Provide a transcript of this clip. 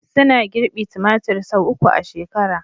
Suna girbi tumatir sau uku a shekara